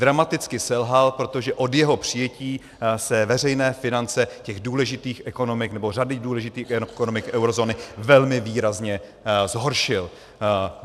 Dramaticky selhal, protože od jeho přijetí se veřejné finance těch důležitých ekonomik, nebo řady důležitých ekonomik eurozóny, velmi výrazně zhoršil.